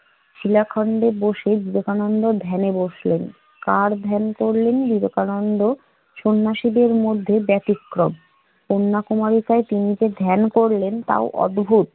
শিলাখণ্ডে বসে বিবেকানন্দ ধ্যানে বসলেন। কার ধ্যান করলেন বিবেকানন্দ? সন্ন্যাসীদের মধ্যে ব্যতিক্রম । কন্যাকুমারীতে তিনি যে ধ্যান করলেন তাও অদ্ভুদ।